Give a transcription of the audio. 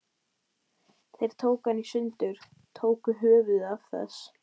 Þeir tóku hana í sundur. tóku höfuðið af þess